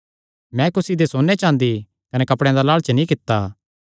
मैं कुसी दे सोन्ने चाँदी कने कपड़ेयां दा लालच नीं कित्ता